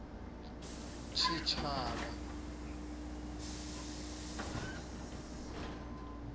tshitshavha